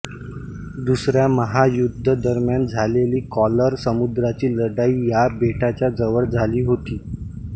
दुसऱ्या महायुद्धा दरम्यान झालेली कॉरल समुद्राची लढाई या बेटाच्या जवळ झाली होती